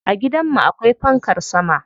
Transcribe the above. A gidan mu akwai fankar sama.